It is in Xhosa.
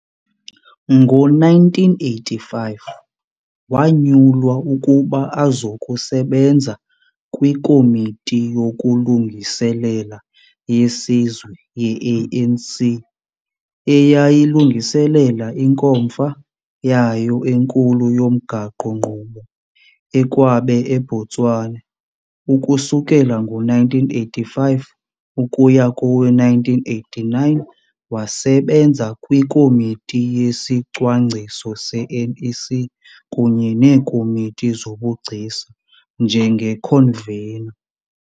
Ngo-1985, wanyulwa ukuba azokusebenza kwiKomiti yokuLungiselela yeSizwe ye-ANC, eyayilungiselela inkomfa yayo enkulu yomgaqo-nkqubo e-Kwabe, eBotswana. Ukusukela ngo-1985 ukuya kowe-1989 wasebenza kwiKomiti yesiCwangciso se-NEC kunye neeKomiti zobuGcisa njengeConveno.